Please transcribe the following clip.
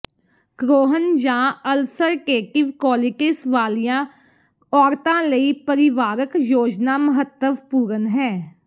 Crohn ਜਾਂ ulcerative colitis ਵਾਲੀਆਂ ਔਰਤਾਂ ਲਈ ਪਰਿਵਾਰਕ ਯੋਜਨਾ ਮਹੱਤਵਪੂਰਣ ਹੈ